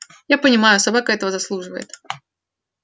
я понимаю собака этого заслуживает